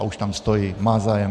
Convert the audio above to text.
A už tam stojí, má zájem.